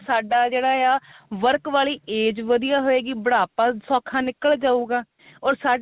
ਸਾਡਾ ਜਿਹੜਾ ਆ work ਵਾਲੀ age ਵਧੀਆ ਹੋਇਗੀ ਬੁਢਾਪਾ ਸੋਖਾ ਨਿਕਲ ਜਾਉਗਾ ਉਹ ਸਾਡੇ